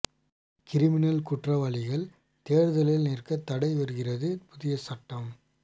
criminal குற்றவாளிகள் தேர்தலில் நிற்க தடை வருகிறது புதிய சட்டம்